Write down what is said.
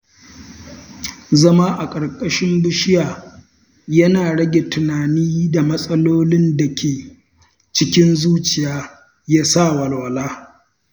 Zama a ƙarƙashin bishiya yana rage tunanin matsalolin da ke cikin zuciya ya sa walwala.